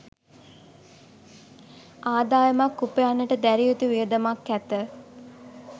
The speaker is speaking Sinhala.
ආදායමක් උපයන්නට දැරිය යුතු වියදමක් ඇත.